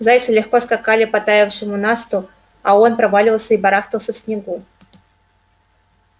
зайцы легко скакали по таявшему насту а он проваливался и барахтался в снегу